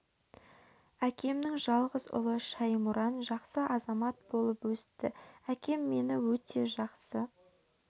әкемнің жалғыз ұлы шәймұран жақсы азамат болып өсті әкем мені өте жақсы көретін қасынан тастамаушы еді